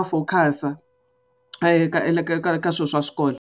a focus-a ka swilo swa swikolo.